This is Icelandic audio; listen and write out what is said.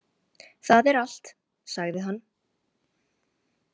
Það er allt, sagði hann.